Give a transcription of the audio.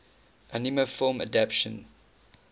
anime film adaptation